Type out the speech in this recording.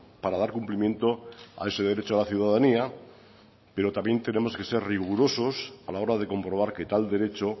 para dar cumplimiento a ese derecho a la ciudadanía pero también tenemos que ser rigurosos a la hora de comprobar que tal derecho